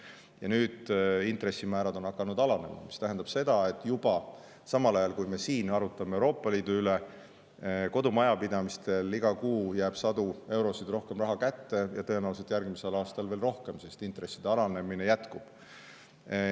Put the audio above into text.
Ja nüüd on hakanud intressimäärad alanema, mis tähendab seda, et juba samal ajal, kui me arutame siin Euroopa Liidu üle, jääb kodumajapidamistel iga kuu sadu eurosid rohkem raha kätte, ja tõenäoliselt järgmisel aastal veel rohkem, sest intresside alanemine jätkub.